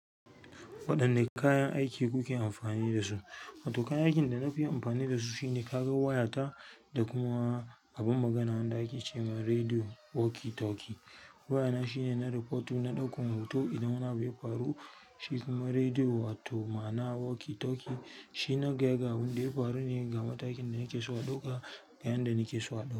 Waɗanne kayan aiki kuke amfani da su? Wato kayan aikin da na fi yin amfani da su shine karan wayata da kuma abin magana wanda ake ce ma rediyo walkie talkie. Wayana shine na rafotu, na ɗaukan hoto idan yana bai faru, shi kuma rediyo wato mana walkie talkie shi na gaya ga abin da ya faru ne ga matakin da nake so aɗauka ga yanda nake so aɗauka.